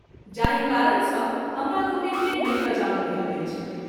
जाहि कारण सँ हमरालोकनिे केँ नहिं बजाओल गेल अछि।